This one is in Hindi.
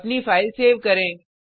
अपनी फाइल सेव करें